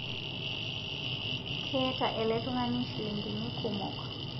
Keeta ele tung'ani shilingini kumo